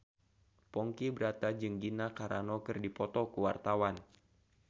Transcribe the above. Ponky Brata jeung Gina Carano keur dipoto ku wartawan